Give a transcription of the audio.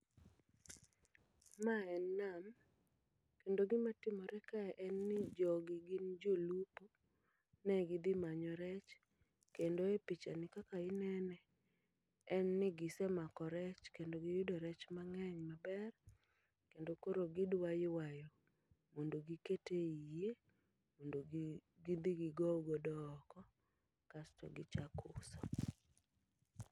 Ma en nam, kendo gima timore kae en ni jogi gin jolupo. Ne gidhi manyo rech, kendo e picha ni kaka inene, en ni gise mako rech. Kendo giyudo rech mang'eny maber, kendo koro gidwa ywayo mondo giket ei yie, mondo gidhi gigow godo oko kasto gichak uso.